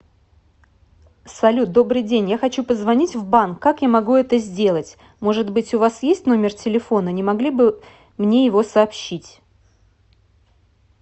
салют добрый день я хочу позвонить в банк как я могу это сделать может быть у вас есть номер телефона не могли бы мне его сообщить